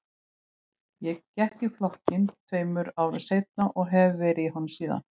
Ég gekk í flokkinn tveim árum seinna og hef verið í honum síðan.